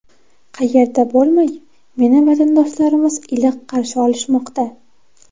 Qayerda bo‘lmay, meni vatandoshlarimiz iliq qarshi olishmoqda.